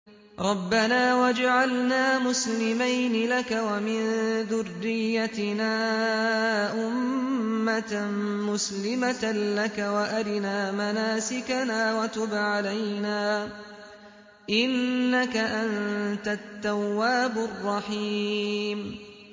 رَبَّنَا وَاجْعَلْنَا مُسْلِمَيْنِ لَكَ وَمِن ذُرِّيَّتِنَا أُمَّةً مُّسْلِمَةً لَّكَ وَأَرِنَا مَنَاسِكَنَا وَتُبْ عَلَيْنَا ۖ إِنَّكَ أَنتَ التَّوَّابُ الرَّحِيمُ